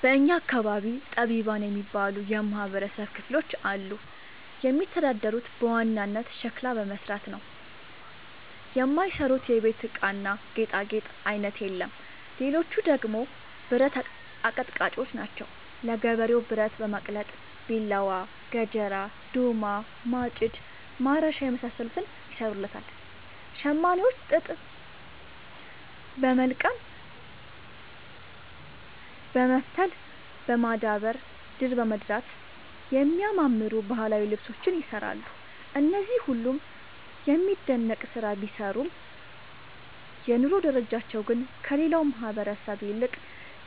በእኛ አካባቢ ጠቢባን የሚባሉ የማህበረሰብ ክፍሎች አሉ። የሚተዳደሩት በዋናነት ሸክላ በመስራት ነው። የማይሰሩት የቤት እቃና ጌጣጌጥ አይነት የለም ሌቹ ደግሞ ብረት አቀጥቃጭጮች ናቸው። ለገበሬው ብረት በማቅለጥ ቢላዋ፣ ገጀራ፣ ዶማ፣ ማጭድ፣ ማረሻ የመሳሰሉትን ይሰሩለታል። ሸማኔዎች ጥጥ በወልቀም በመፍተል፣ በማዳወር፣ ድር በማድራት የሚያማምሩ ባህላዊ ልብሶችን ይሰራሉ። እነዚህ ሁሉም የሚደነቅ ስራ ቢሰሩም የኑሮ ደረጃቸው ግን ከሌላው ማህበረሰብ ይልቅ